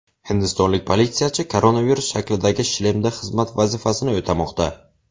Hindistonlik politsiyachi koronavirus shaklidagi shlemda xizmat vazifasini o‘tamoqda .